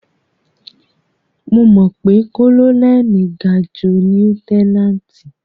Mo mọ̀ pé kólónẹ́lì ga ju lieutẹ́náǹtì.